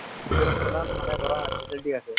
ভিতৰত ইমান মানে ধৰা facility আছে